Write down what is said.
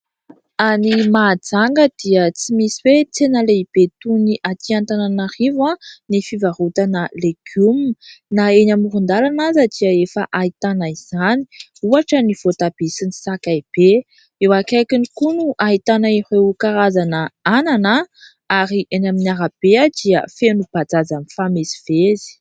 Any Mahajanga dia tsy misy hoe tsena lehibe toy ny Antananarivo ny fivarotana legioma. Na eny amoron-dalana aza dia efa ahitana izany. Ohatra ny voatabia sy ny sakay be. Eo akaikiny koa no ahitana ireo karazana anana ary eny amin'ny arabe dia feno bajaj mifamezivezy.